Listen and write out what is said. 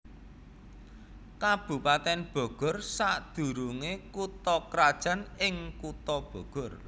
Kabupatèn Bogor sadurungé kutha krajan ing Kutha Bogor